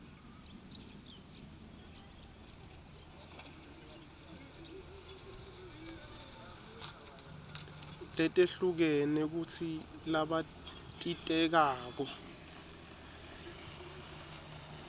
letehlukene kutsi labatitekako